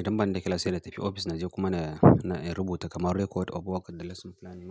Idan ba ni da class sai in tafi ofis in je kuma in, rubuta kamar record of work da lesson planning.